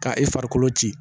Ka e farikolo ci